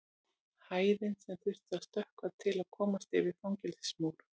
Hæðin sem þyrfti að stökkva til að komast yfir fangelsismúr.